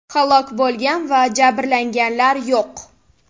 Halok bo‘lgan va jabrlanganlar yo‘q.